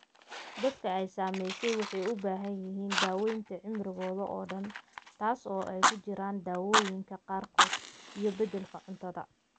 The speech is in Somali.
Dadka ay saamaysay waxay u baahan yihiin daawaynta cimrigooda oo dhan, taas oo ay ku jiraan daawooyinka qaarkood iyo beddelka cuntada.